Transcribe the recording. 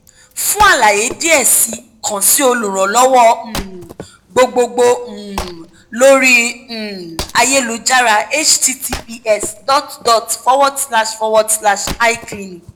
fun àlàyé diẹ sii kan si olùrànlọ́wọ́ um gbogbogbo um lori um ayélujára https dot dot forward slash forward slash icliniq